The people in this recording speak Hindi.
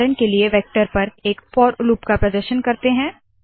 उदाहरण के लिए वेक्टर पर एक फोर लूप का प्रदर्शन करते है